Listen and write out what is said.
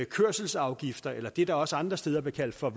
kørselsafgifter eller det der også andre steder bliver kaldt for